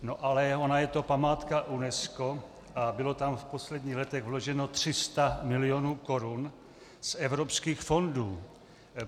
No ale ona je to památka UNESCO a bylo tam v posledních letech vloženo 300 milionů korun z evropských fondů.